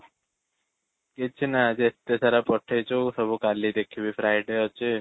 କିଛି ନାହିଁ ଆଜି ଏତେ ସାରା ପଠେଇଛୁ ସବୁ କାଲି ଦେଖିବି Friday ଅଛି